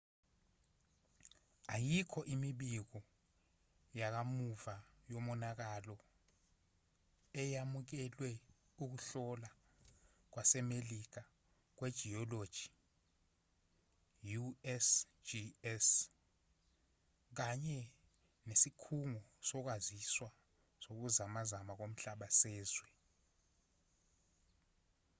ayikho imibiko yakamuva yomonakalo eyamukelwe ukuhlola kwasemelika kwejiyoloji usgs kanye nesikhungo sokwaziswa sokuzamazama komhlaba sezwe